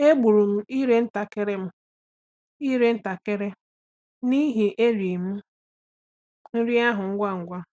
Egburu m ire ntakịrị m ire ntakịrị n’ihi na e ri m nri ahụ ngwa ngwa.